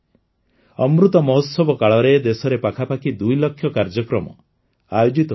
ଅମୃତ ମହୋତ୍ସବ କାଳରେ ଦେଶରେ ପାଖାପାଖି ଦୁଇଲକ୍ଷ କାର୍ଯ୍ୟକ୍ରମ ଆୟୋଜିତ ହୋଇଛି